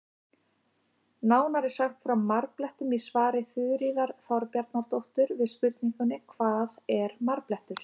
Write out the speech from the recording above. Nánar er sagt frá marblettum í svari Þuríðar Þorbjarnardóttur við spurningunni Hvað er marblettur?